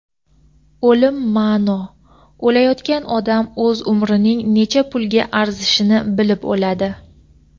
o‘lim ma’no… O‘layotgan odam o‘z umrining necha pulga arzishini bilib o‘ladi.